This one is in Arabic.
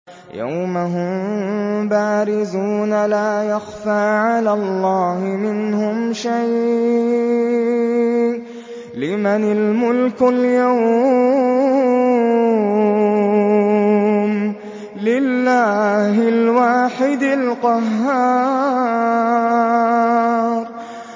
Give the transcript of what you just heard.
يَوْمَ هُم بَارِزُونَ ۖ لَا يَخْفَىٰ عَلَى اللَّهِ مِنْهُمْ شَيْءٌ ۚ لِّمَنِ الْمُلْكُ الْيَوْمَ ۖ لِلَّهِ الْوَاحِدِ الْقَهَّارِ